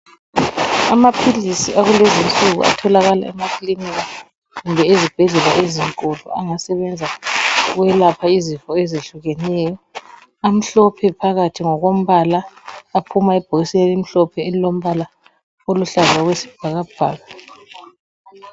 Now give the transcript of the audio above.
Amaphilizi akulezi insuku atholakala emakilinika kumbe ezibhedlela ezinkulu angasebenza ukwelapha izifo ezehlukeneyo, amhlophe phakathi ngokombala aphuma ebhokisini elimhlophe elolombala oluhlaza okwesibhakabhaka.